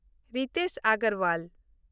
Ritesh Agarwal